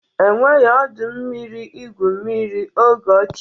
E nweghị ọdọ mmiri igwu mmiri oge ochie.